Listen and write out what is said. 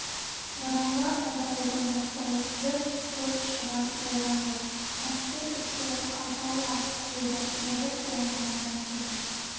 бұрынғы айдауылдың бастығы күліп көп шығын болған жоқ мықты иттер алтауы-ақ өлді берік оңбағандар деді